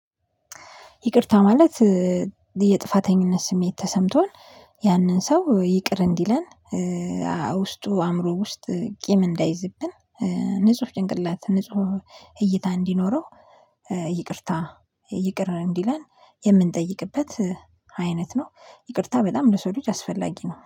ይቅርታ ማለት የጥፋተኝነት ስሜት ተሰምቶን ያንን ሰው ይቅር እንዲለን። ውስጡ አእምሮ ውስጥ ቂም እንዳይዝብን ንጹህ ጭንቅላት ንጹህ እይታ እንዲኖረው። ይቅርታ ይቅር እንዲለን የምንጠይቅበት አይነት ነው። ይቅርታ በጣም ለሰው ልጅ አስፈላጊ ነው